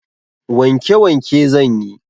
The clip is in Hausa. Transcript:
Wanke wanke zanyi